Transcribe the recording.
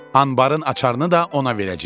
Anbarın açarını da ona verəcəyik.